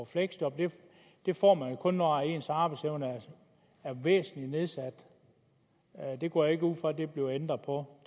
fleksjob men det får man jo kun når ens arbejdsevne er væsentligt nedsat og jeg går ikke ud fra at der bliver ændret på